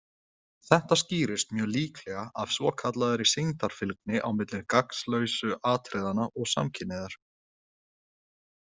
Þetta skýrist mjög líklega af svokallaðri sýndarfylgni á milli gagnslausu atriðanna og samkynhneigðar.